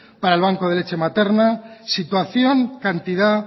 para el banco de lecha materna situación cantidad